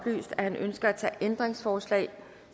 ændringsforslag